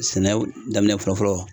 Sɛnɛw daminɛ fɔlɔ fɔlɔ